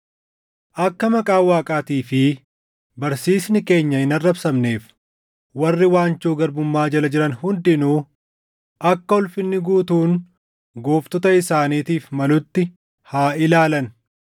Akka maqaan Waaqaatii fi barsiisni keenya hin arrabsamneef warri waanjoo garbummaa jala jiran hundinuu akka ulfinni guutuun gooftota isaaniitiif malutti haa ilaalan.